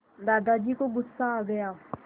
दादाजी को गुस्सा आ गया